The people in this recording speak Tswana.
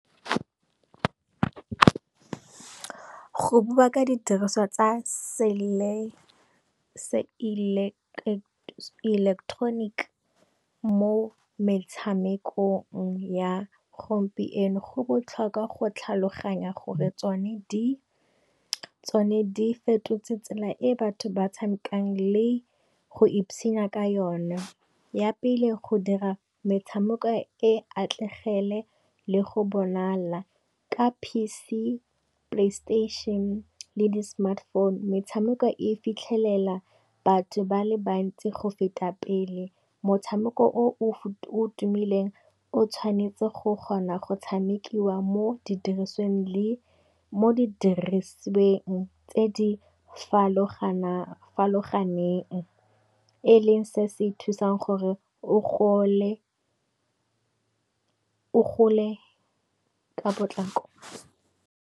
Go bua ka di diriswa tsa se eleketroniki mo metshamekong ya gompieno, go botlhokwa go tlhaloganya gore tsone di fetotse tsela e batho ba tshamekang le go ipsinya ka yone. Ya pele go dira metshameko e atlegele le go bonala ka P_C, Play station le di Smartphone. Metshameko e fitlhelela batho ba le bantsi go feta pele, motshameko o tumileng o tshwanetse go kgona go tshamekiwa mo di dirisweng tse di farologaneng, e leng se se thusang gore o gole ka potlako